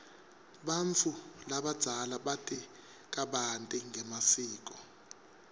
bantfu labadzala bati kabanti ngemasiko